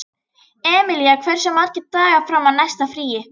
Emilía, hversu margir dagar fram að næsta fríi?